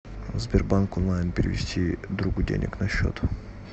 сбербанк онлайн перевести другу денег на счет